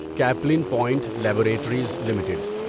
Kaplan Point Laboratories limited